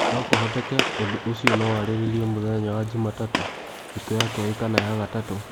No kũhoteke ũndũ ũcio no warĩrĩrio mũthenya wa Jumatatu, Thikũ ya Kerĩ kana ya Gatatũ.